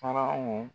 Faraw